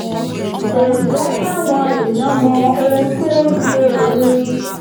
kò jẹ́ káwọn èèyàn mọ ohun tó ń ṣe òun